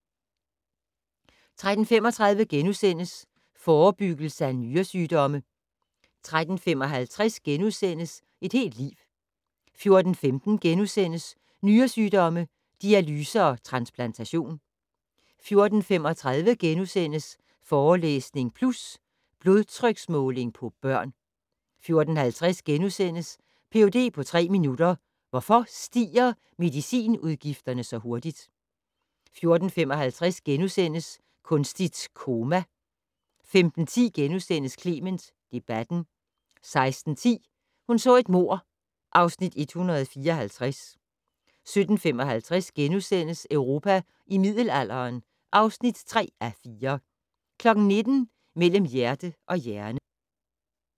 13:35: Forebyggelse af nyresygdomme * 13:55: Et helt liv * 14:15: Nyresygdomme - dialyse og transplantation * 14:35: Forelæsning Plus - Blodtryksmåling på børn * 14:50: Ph.d. på tre minutter - Hvorfor stiger medicinudgifterne så hurtigt? * 14:55: Kunstigt koma * 15:10: Clement debatten * 16:10: Hun så et mord (Afs. 154) 17:55: Europa i middelalderen (3:4)* 19:00: Mellem hjerte og hjerne